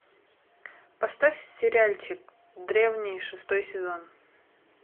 поставь сериальчик древние шестой сезон